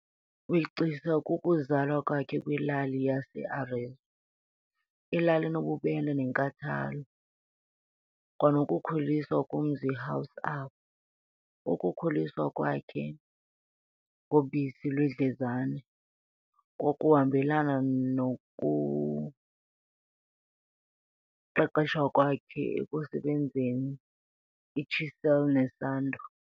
wegcisa kukuzalwa kwakhe kwilali yaseArezzo, ilali enobubele nenkathalo, kwanokukhuliswa kumzi house apho, ukukhuliswa khe ngobisi lwendlezane, kwakuhambelana nokuniqeqeshwa kwakhe ekusebenziseni ichisel nesando.